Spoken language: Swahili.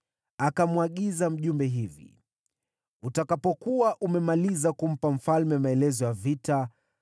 Akamwagiza mjumbe hivi, “Utakapokuwa umemaliza kumpa mfalme maelezo ya vita,